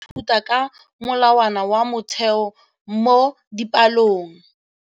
Baithuti ba ithuta ka molawana wa motheo mo dipalong.